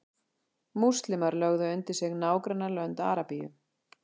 múslímar lögðu undir sig nágrannalönd arabíu